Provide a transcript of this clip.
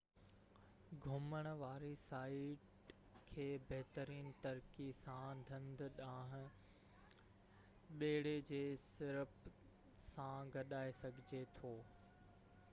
گهمڻ واري سائيٽ کي بهترين طريقي سان ڍنڍ ڏانهن ٻيڙي جي ٽرپ سان گڏائي سگهجي ٿو